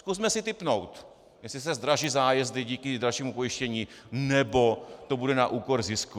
Zkusme si tipnout, jestli se zdraží zájezdy díky dražšímu pojištění, nebo to bude na úkor zisku.